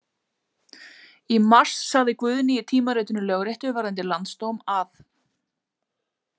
Í mars sagði Guðni í tímaritinu Lögréttu varðandi Landsdóm að.